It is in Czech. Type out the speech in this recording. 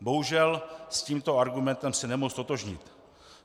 Bohužel, s tímto argumentem se nemohu ztotožnit.